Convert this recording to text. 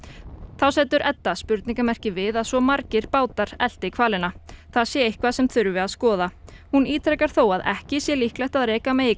þá setur Edda spurningamerki við að svo margir bátar elti hvalina það sé eitthvað sem þurfi að skoða hún ítrekar þó að ekki sé líklegt að rekja megi